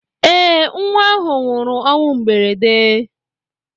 Eé, nnwa ahụ nwụrụ ọnwụ mberede.